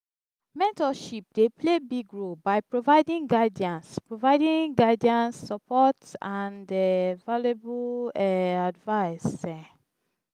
mentorship dey play big role by providing guidance providing guidance support and um valuable um advice. um